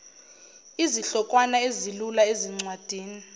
izihlokwana ezilula ezincwadini